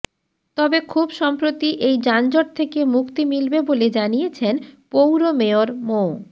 তবে খুব সম্প্রতি এই যানজট থেকে মুক্তি মিলবে বলে জানিয়েছেন পৌর মেয়র মো